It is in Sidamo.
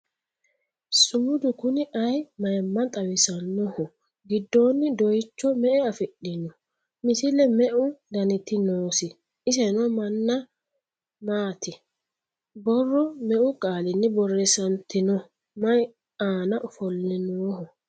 Sumudu Kuni ayii mayiimma xawisannoho ? Giddonni doyiicho me'e afi'noho ? Misile meu dannitti noosi ? isenno maana maati ? Borro meu qaalinni borreessanitinno ? Mayi aanna ofolle nooho ?